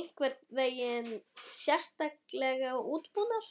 einhvern veginn sérstaklega útbúnar?